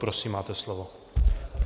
Prosím, máte slovo.